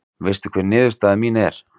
Veistu hver niðurstaða mín er?